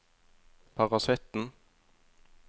parasitten